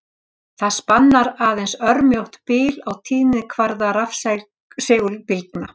Það spannar aðeins örmjótt bil á tíðnikvarða rafsegulbylgna.